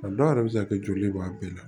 A dɔw yɛrɛ bɛ se ka kɛ joli b'a bɛɛ la